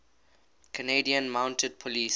canadian mounted police